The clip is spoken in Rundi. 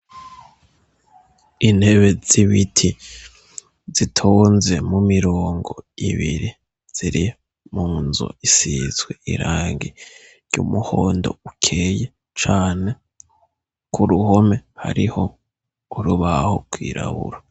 Intebe z'ibiti zitonze mu mirongo ibiri, ziri mu nzu isizwe irangi ry'umuhondo ukeye cane, ku ruhome hariho urubaho rwirabura.